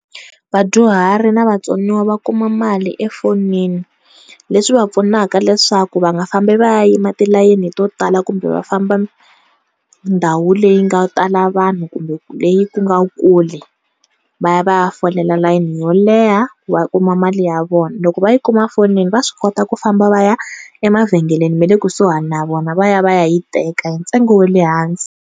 Vadyuhari na vatsoniwa va kuma mali efonini leswi va pfunaka leswaku va nga fambi va ya yima tilayeni to tala kumbe va famba ndhawu leyi nga tala vanhu leyi ku nga kule va ya va ya folela layeni yo leha va kuma mali ya vona loko va yi kuma efonini va swi kota ku famba va ya emavhengeleni ma le kusuhi na vona va ya va ya yi teka hi ntsengo wa le hansi.